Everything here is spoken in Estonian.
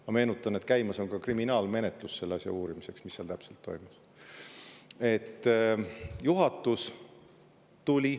Ma meenutan, et käimas on kriminaalmenetlus uurimaks, mis seal täpselt toimus.